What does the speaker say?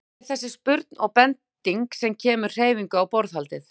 Það er þessi spurn og bending sem kemur hreyfingu á borðhaldið.